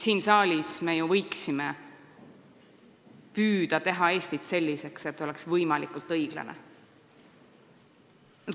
Siin saalis me ju võiksime püüda teha Eestit selliseks, et see oleks võimalikult õiglane.